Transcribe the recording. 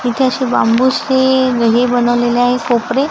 इथे अशी बांबूचे घरी बनवलेली आहे कोपरे--